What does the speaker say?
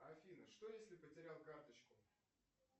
афина что если потерял карточку